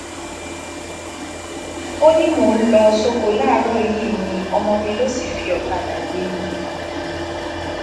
ó ní mò ń lọ sóko láàárọ yìí ni ọmọ mi lọ sì fi ọkadà gbé mi